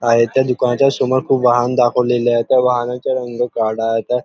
आहे त्या दुकानच्या समोर खुप वाहन दाखवलेल आहे त्या वाहनाचा रंग काळा आहे.